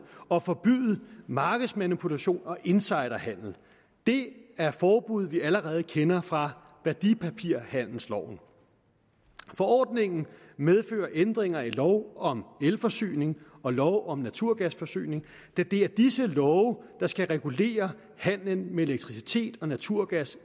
og forbyde markedsmanipulation og insiderhandel det er forbud vi allerede kender fra værdipapirhandelsloven forordningen medfører ændringer i lov om elforsyning og lov om naturgasforsyning da det er disse love der skal regulere handelen med elektricitet og naturgas